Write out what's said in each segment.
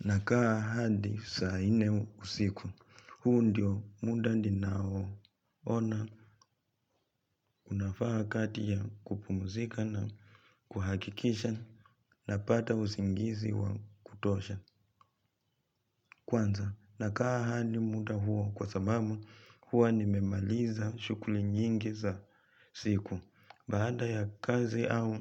Nakaa hadi saa nne usiku, huu ndio muda ninao ona unafaa kati ya kupumzika na kuhakikisha napata usingizi wa kutosha. Kwanza nakaa hadi muda huo kwa sababu huwa nimemaliza shughuli nyingi za siku. Baada ya kazi au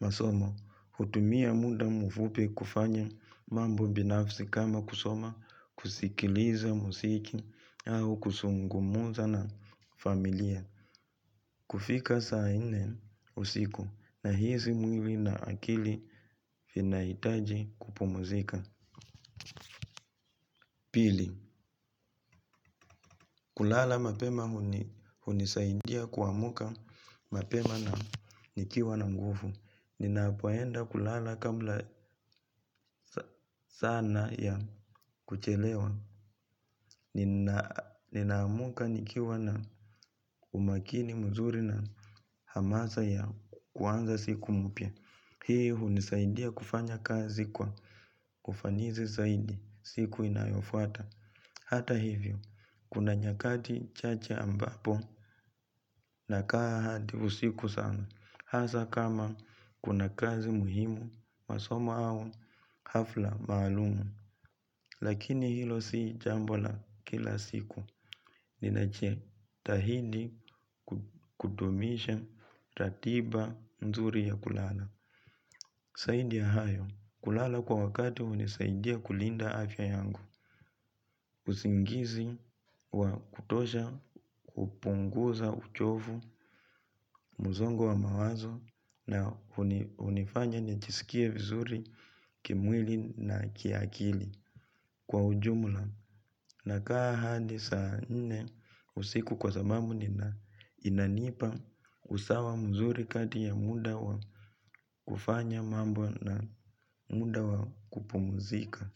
masomo hutumia muda mfupi kufanya mambo binafsi kama kusoma, kusikiliza muziki au kuzungumza na familia kufika saa nne usiku nahisi mwili na akili vinahitaji kupumzika. Pili, kulala mapema hunisaidia kuamka mapema na nikiwa na nguvu. Ninapoenda kulala kabla sana ya kuchelewa. Ninaamka nikiwa na umakini mzuri na hamasa ya kuanza siku mpya. Hii hunisaidia kufanya kazi kwa ufanisi zaidi siku inayofuata. Hata hivyo, kuna nyakati chache ambapo nakaa hadi usiku sana. Hasa kama kuna kazi muhimu, masomo au hafla maalum. Lakini hilo si jambo la kila siku ninajitahidi kudumisha ratiba mzuri ya kulala. Zaidi ya hayo, kulala kwa wakati hunisaidia kulinda afya yangu. Usingizi wa kutosha hupunguza uchovu, msongo wa mawazo na hunifanya nijisikie vizuri kimwili na kiakili. Kwa ujumla nakaa hadi saa nne usiku kwa sababu nina inanipa usawa mzuri kati ya muda wa kufanya mambo na muda wa kupumzika.